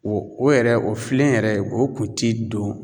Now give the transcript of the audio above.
O o yɛrɛ o filen yɛrɛ o kun ti don